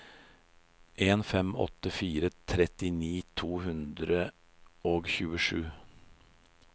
fem en åtte fire trettini to hundre og tjuesju